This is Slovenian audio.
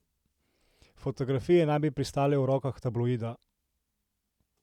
Fotografije naj bi pristale v rokah tabloida.